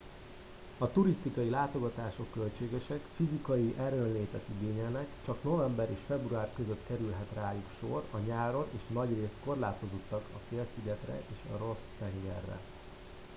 a turisztikai látogatások költségesek fizikai erőnlétet igényelnek csak november és február között kerülhet rájuk sor a nyáron és nagyrészt korlátozottak a félszigetre és a ross tengerre